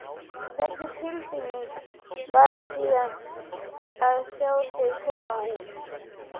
Hvernig var tilfinningin síðan að sjá þau koma út?